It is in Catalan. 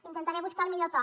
intentaré buscar el millor to